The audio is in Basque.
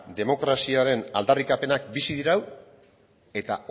demokraziaren aldarrikapenak bizi dirau eta